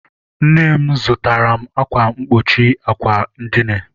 Nne m zụtaara m akwa mkpuchi àkwà edina.